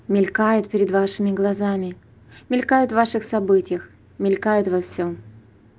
мелькает перед вашими глазами мелькают в ваших событиях мелькают во всём